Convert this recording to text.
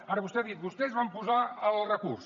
ara vostè ha dit vostès van posar el recurs